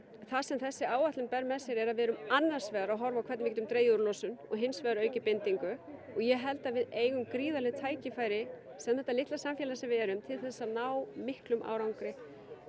það sem þessi áætlun ber með sér er að við erum annars vegar að horfa á hvernig við getum dregið úr losun og hins vegar aukið bindingu og ég held að við eigum gríðarleg tækifæri sem þetta litla samfélag sem við erum til þess að ná miklum árangri